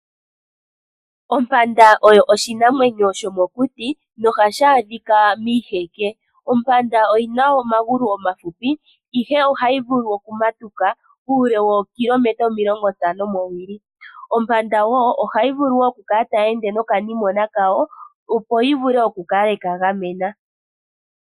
Ompanda oyo oshinamwenyo shomokuti nohashi adhika miiheke. Ompanda oyina omagulu ohahupi ihe ohayi vulu okumatuka uule wookilometa omilongo ntano mowili. Ompanda woo, ohayi vulu okukala tayi ende nokanimona kawo opo yivule okukala yeka gamena.